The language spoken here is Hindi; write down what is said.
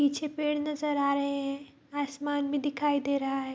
पीछे पेड़ नजर आ रहे हैं आसमान भी दिखाई दे रहा है |